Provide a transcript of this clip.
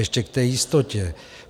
Ještě k té jistotě.